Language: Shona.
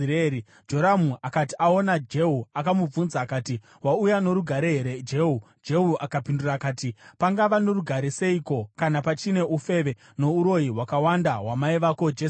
Joramu akati aona Jehu akamubvunza akati, “Wauya norugare here, Jehu?” Jehu akapindura akati, “Pangava norugare seiko, kana pachine ufeve nouroyi hwakawanda hwamai vako Jezebheri?”